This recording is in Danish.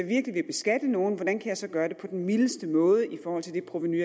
virkelig vil beskatte nogen hvordan man kan gøre det på den mildeste måde i forhold til det provenu